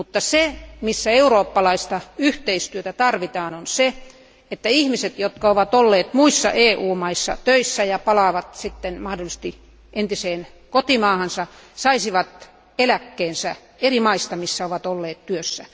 Sen sijaan eurooppalaista yhteistyötä tarvitaan siinä, että ihmiset, jotka ovat olleet muissa EU maissa töissä ja palaavat sitten mahdollisesti entiseen kotimaahansa, saisivat eläkkeensä niistä eri maista, missä he ovat olleet työssä.